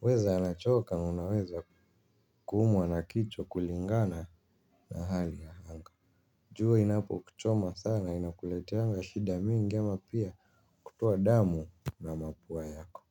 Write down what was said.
huweza anachoka na anaweza kuumwa na kichwa kulingana na hali ya anga. Jua inapo kuchoma sana inakuleteanga shida mingi ama pia kutoa damu na mapua yako.